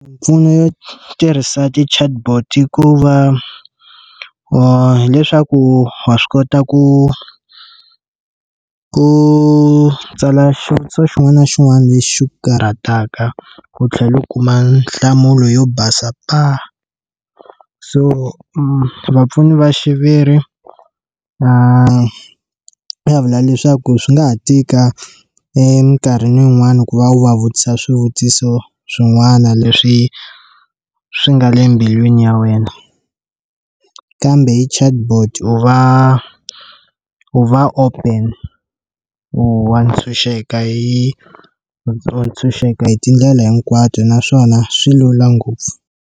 Mimpfuno yo tirhisa ti chatbot i ku va wa hileswaku wa swi kota ku ku tsala xivutiso xin'wana na xin'wana lexi xi ku karhataka ku tlhela u kuma nhlamulo yo basa paa, so vapfuni va xiviri vanhu va vula leswaku swi nga ha tika eminkarhini yin'wana ku va wu va vutisa swivutiso swin'wana leswi swi nga le mbilwini ya wena kambe hi chatbot u va u va open u wa ntshunxeka hi tshunxeka hi tindlela hinkwato naswona swi lula ngopfu.